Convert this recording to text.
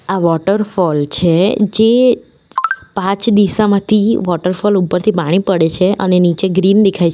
આ વોટરફોલ છે જે પાંચ દિશામાંથી વોટરફોલ ઉપરથી પાણી પડે છે અને નીચે ગ્રીન દેખાય છે.